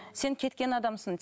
сен кеткен адамсың